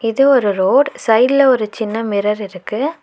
இது ஒரு ரோட் சைட்ல ஒரு சின்ன மிரர் இருக்கு.